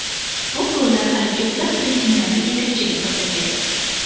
Bu gollar hali ko‘plab reytinglarda yetakchilik qilsa kerak... !